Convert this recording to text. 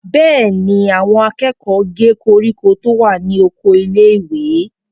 Bẹ́ẹ̀ ni, àwọn akẹ́kọ̀ọ́ gé koríko tó wà ní oko ilé-ìwé.